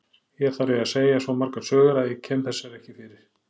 Hér þarf ég að segja svo margar sögur að ég kem þessari ekki fyrir.